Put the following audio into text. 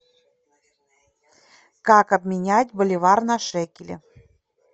как обменять боливар на шекели